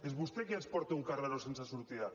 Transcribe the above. és vostè qui ens porta a un carreró sense sortida